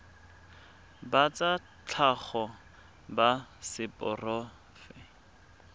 ba tsa tlhago ba seporofe